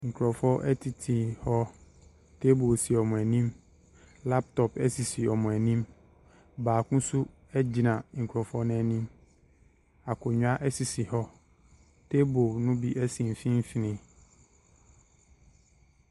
Nkrɔfoɔ tete hɔ. Table si wɔn anim. Laptop si wɔ anim. Baako nso gyina nkrɔfoɔ no anim. Akonnwa sisi hɔ. Table no bi si mfimfin.